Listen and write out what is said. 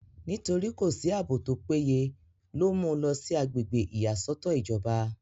nítorí kò sí àbò tó péye ló mú u lọ sí agbègbè ìyàsọ́tọ̀ ìjọba